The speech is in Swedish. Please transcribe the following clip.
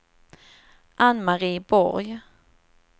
Anne-Marie Borg